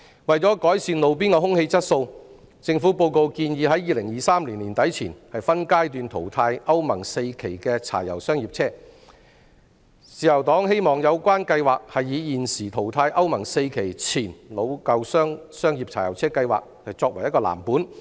為了改善路邊空氣質素，施政報告建議在2023年年底前分階段淘汰歐盟 IV 期的柴油商業車，自由黨希望有關計劃是以現時淘汰歐盟 IV 期前老舊商業柴油車計劃作藍本。